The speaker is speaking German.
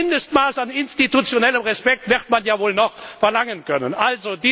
ist. Ein Mindestmaß an institutionellem Respekt wird man ja wohl noch verlangen dürfen.